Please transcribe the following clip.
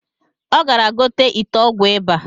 Ọ gara igote ite ọgwụ ịba